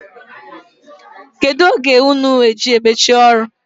Kedụ oge unu ji emechi ọrụ?